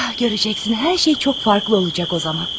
Görəcəksən, hər şey çox fərqli olacaq o zaman.